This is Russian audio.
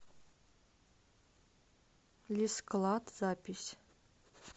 лисклад запись